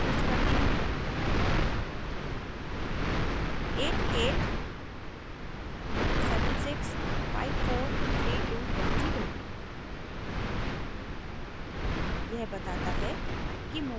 अब मैं mobile number प्रविष्ट करती हूँ8876543210